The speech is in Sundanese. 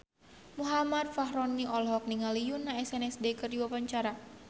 Muhammad Fachroni olohok ningali Yoona SNSD keur diwawancara